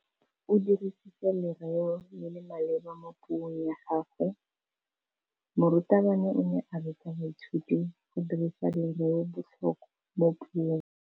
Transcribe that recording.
O dirisitse lerêo le le maleba mo puông ya gagwe. Morutabana o ne a ruta baithuti go dirisa lêrêôbotlhôkwa mo puong.